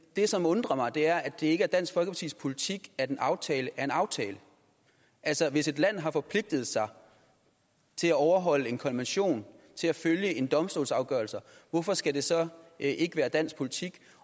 det som undrer mig er at det ikke er dansk folkepartis politik at en aftale er en aftale altså hvis et land har forpligtet sig til at overholde en konvention til at følge en domstols afgørelser hvorfor skal det så ikke være dansk politik